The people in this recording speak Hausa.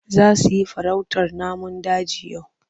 Za su yi farautar namun daji yau?